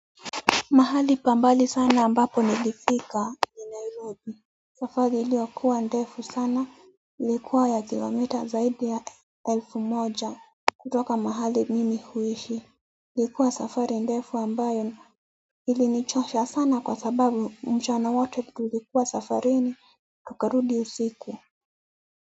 Mahali pa mbali sana ambapo nilifika safari iliyokuwa ndefu sana ilikuwa ya kilomita zaidi ya elfu moja kutoka mahali mimi huishi ilikuwa safari ndefu ambayo ilinichosha sana kwa sababu mchana wote tulikuwa safarini tukarudi usiku.